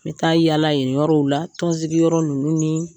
N bɛ taa yaala yen yɔrɔw la tɔnsigi yɔrɔ ninnu ni